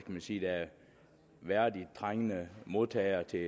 man sige værdigt trængende modtagere til